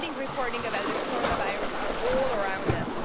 misleading reporting about the coronavirus are all around us.